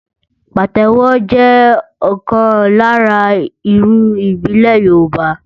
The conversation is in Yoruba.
Pàtẹ́wọ́ jẹ́ ọ̀kan lára irun ìbílẹ̀ Yorùbá.